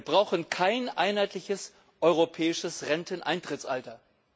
Wir brauchen kein einheitliches europäisches Renteneintrittsalter.